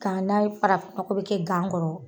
Ka na ye farafin mɔgɔ bi kɛ gan kɔrɔ